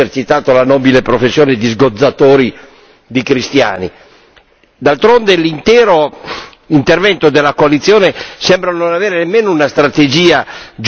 D'altronde l'intero intervento della coalizione sembra non avere nemmeno una strategia geopolitica comprensibile e per di più non coinvolge tutte le potenze interessate.